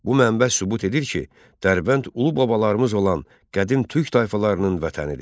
Bu mənbə sübut edir ki, Dərbənd ulu babalarımız olan qədim Türk tayfalarının vətənidir.